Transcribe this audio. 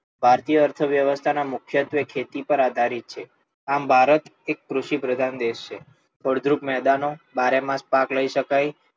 ભારતીય અર્થવ્યવસ્થા ના મુખ્યત્વે ખેતી પર આધારિત છે, આમ ભારત એક કૃષિ પ્રધાન દેશ છે. ફળદ્રુપ મેદાનો, બારે માસ પાક લઈ શકાય,